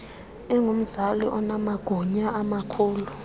ingumzali onamagunya amakhulu